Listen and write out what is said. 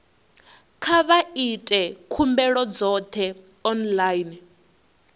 kha vha ite khumbelo dzoṱhe online